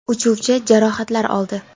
Uchuvchi jarohatlar oldi.